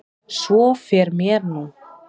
Svo fer mér nú.